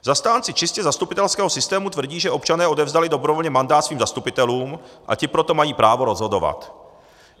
Zastánci čistě zastupitelského systému tvrdí, že občané odevzdali dobrovolně mandát svým zastupitelům a ti proto mají právo rozhodovat.